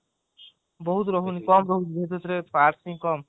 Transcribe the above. ବହୁତ ମାନେ ଏଥିରେ parts ବି କମ